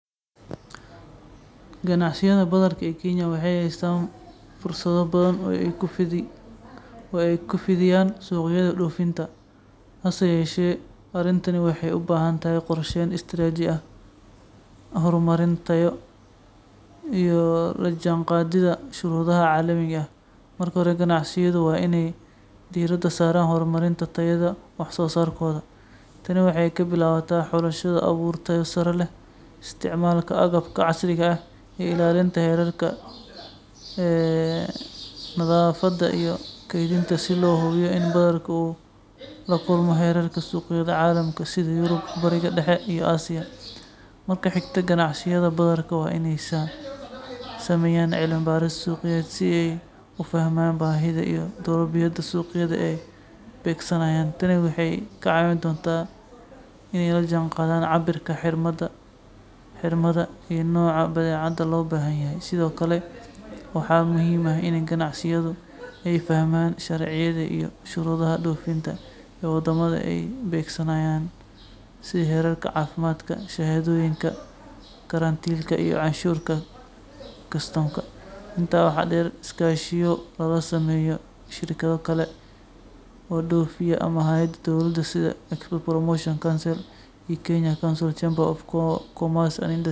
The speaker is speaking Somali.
Si ay ganacsiyada badarka ee Kenya ugu fidi karaan suuqyada dhoofinta caalamiga ah, waa in ay si xeel dheer u qiimeeyaan baahida iyo doorbidyada suuqyada bartilmaameedka ah, sameeyaan cilmi-baaris suuqeed oo qoto dheer, horumariyaan tayada iyo heerarka wax-soo-saarka si ay ula jaanqaado shuruudaha caafimaad, nadaafad iyo tayo ee ay dhigaan suuqyada caalamiga ah, gaar ahaan Yurub, Bariga Dhexe iyo Aasiya, isla markaana ka faa’iideystaan heshiisyada ganacsi ee gobolka, waxayna sidoo kale u baahan yihiin inay horumariyaan silsiladda sahayda, ka shaqeeyaan shahaadooyin tayayn ah.